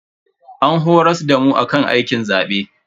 An horas damu akan aikin zabe.